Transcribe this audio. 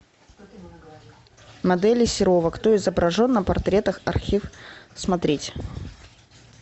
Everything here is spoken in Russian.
модели серова кто изображен на портретах архив смотреть